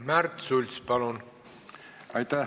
Märt Sults, palun!